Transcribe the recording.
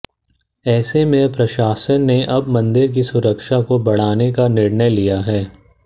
ऐसे में प्रशासन ने अब मंदिर की सुरक्षा को बढ़ाने का निर्णय लिया है